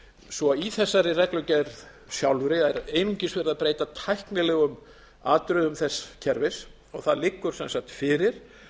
svo í þessari reglugerð sjálfri er einungis verið að breyta tæknilegum atriðum þess kerfis það liggur sem sagt fyrir